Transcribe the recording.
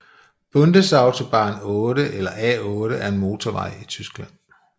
Bundesautobahn 8 eller A 8 er en motorvej i Tyskland